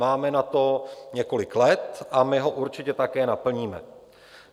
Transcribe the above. Máme na to několik let a my ho určitě také naplníme.